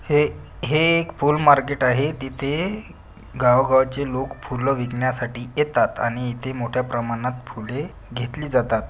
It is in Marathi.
हे हे एक फूल मार्केट आहे तिथे गावागावाचे लोक फुलं विकण्यासाठी येतात आणि इथे मोठ्या प्रमाणात फुले घेतली जातात.